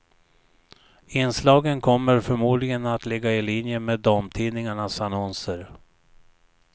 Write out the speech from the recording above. Inslagen kommer förmodligen att ligga i linje med damtidningarnas annonser.